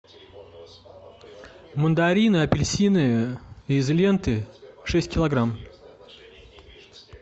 мандарины апельсины из ленты шесть килограмм